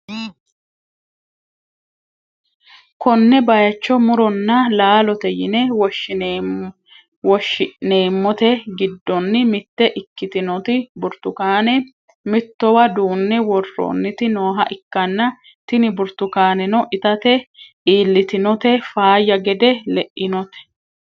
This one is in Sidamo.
konne bayicho muronna laalote yine woshshi'neemmote giddoonni mitte ikkitinoti burtukaane mittowa duunne worroonniti nooha ikkanna , tini burtukaanenno itate iillitinote faayya gede le'inote.